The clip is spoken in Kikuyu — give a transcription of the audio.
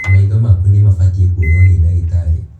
Maitho maku nĩ mabatiĩ kũonwo nĩ ndagitarĩ.